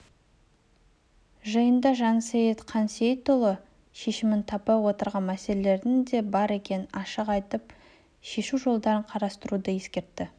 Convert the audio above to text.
жиында жансейіт қансейітұлы шешімін таппай отырған мәселелердің де бар екенін ашық айтып шешу жолдарын қарастыруды ескертті